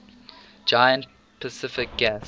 giant pacific gas